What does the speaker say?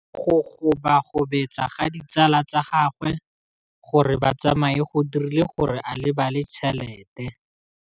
Go gobagobetsa ga ditsala tsa gagwe, gore ba tsamaye go dirile gore a lebale tšhelete.